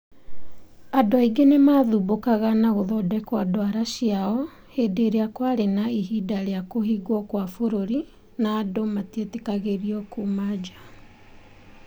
Andũ aingĩ nĩ maathumbũkaga na gũthondeka ndwara ciao hĩndĩ ĩrĩa kwarĩ na ihinda rĩa kũhingwo kwa bũrũri na andũ matietĩkĩragio kuuma njaa.